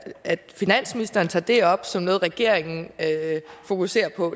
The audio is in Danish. at finansministeren tager det op som noget regeringen fokuserer på